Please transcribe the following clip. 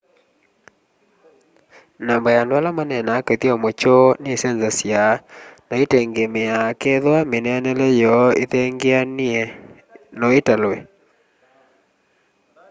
namba ya andu ala maneenaa kithyomo kyoo nisenzasya na itengemeaa kethwa mineenele yoo ithengeanie no italwe